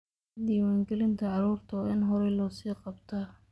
Diiwaangelinta carruurta waa in horay loo sii qabtaa.